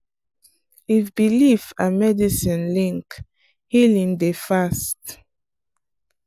if belief and medicine link healing dey fast.